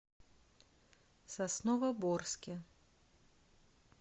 сосновоборске